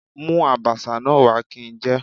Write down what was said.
Mú Àbàṣà náà wá kí n jẹ.